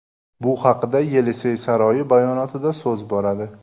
Bu haqda Yelisey saroyi bayonotida so‘z boradi.